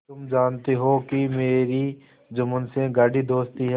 तुम जानती हो कि मेरी जुम्मन से गाढ़ी दोस्ती है